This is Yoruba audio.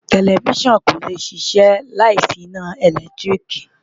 Tẹlifísàn kò lè ṣiṣẹ́ láì sí iná ìlẹ́tríìkì